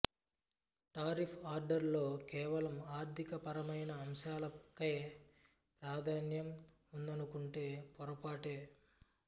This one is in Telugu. టారిఫ్ ఆర్డర్ లో కేవలం ఆర్థిక పరమైన అంశాలకే ప్రాధాన్యం ఉందనుకుంటే పొరపాటే